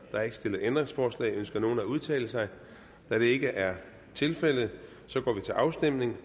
er ikke stillet ændringsforslag ønsker nogen at udtale sig da det ikke er tilfældet går vi til afstemning